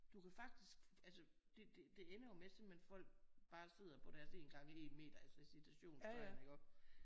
Du kan faktisk altså det det ender jo med simpelthen folk bare sidder på deres 1 gange 1 meter altså i citationstegn